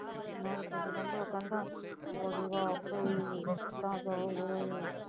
ਨਾਲੇ ਕਹਿੰਦੇ ਉਹ ਕਹਿੰਦਾ ਹੋ ਜਾਊਗਾ ਆਪੇ ਹੀ